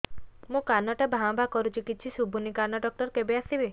ମୋ କାନ ଟା ଭାଁ ଭାଁ କରୁଛି କିଛି ଶୁଭୁନି କାନ ଡକ୍ଟର କେବେ ଆସିବେ